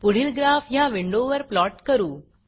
पुढील ग्राफ ह्या विंडोवर प्लॉट करू